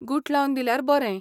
गुठलावन दिल्यार बरें.